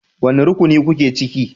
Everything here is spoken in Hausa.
Wane rukuni kuke ciki?